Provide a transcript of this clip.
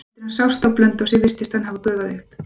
Eftir að hann sást á Blönduósi virtist hann hafa gufað upp.